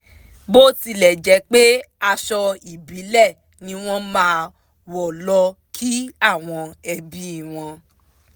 bó tilẹ̣̀ jẹ́ pé aṣọ ìbílẹ̀ ni wọ́n máa ń wọ lọ kí àwọn ẹbí wọn